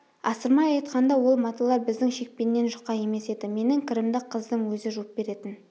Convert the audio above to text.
асырмай айтқанда ол маталар біздің шекпеннен жұқа емес еді менің кірімді қыздың өзі жуып беретін